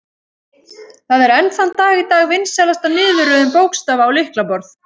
Það er enn þann dag í dag vinsælasta niðurröðun bókstafa á lyklaborð.